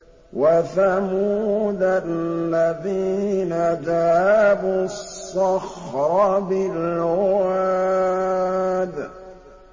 وَثَمُودَ الَّذِينَ جَابُوا الصَّخْرَ بِالْوَادِ